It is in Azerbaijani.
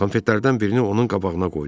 Konfetlərdən birini onun qabağına qoydu.